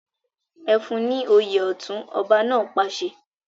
Ẹ fún ní òye ọ̀tún! ọba náà pàṣẹ.